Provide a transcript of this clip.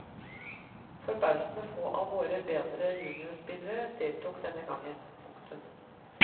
Forbausende få av våre bedre juniorspillere deltok denne gang. punktum